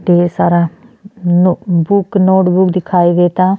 ढ़ेर सारा no book notebook दिखाई देता।